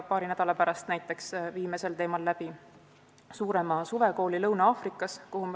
Paari nädala pärast viime sel teemal läbi suurema suvekooli Lõuna-Aafrika Vabariigis.